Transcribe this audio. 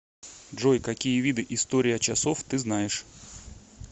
джой какие виды история часов ты знаешь